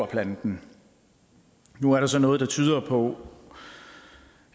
planten nu er der så noget der tyder på